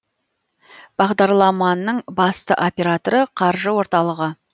бағдарламаның басты операторы қаржы орталығы